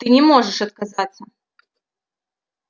ты не можешь отказаться